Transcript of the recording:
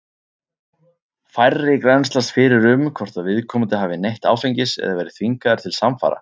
Færri grennslast fyrir um hvort að viðkomandi hafi neytt áfengis eða verið þvingaður til samfara.